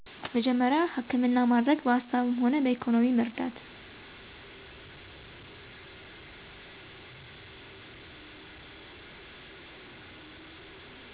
መጀመሪያ ሀከምና ማደረግ በሀሳብምሆና በኢኮኖሚ መርዳት